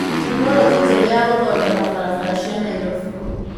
Tekinoronjĩ njerũ ya gũthondeka barabara cia Nairobi